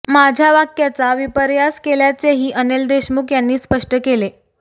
माझ्या वाक्याचा विपर्यास केल्याचेही अनिल देशमुख यांनी स्पष्ट केले